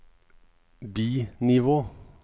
bi-nivå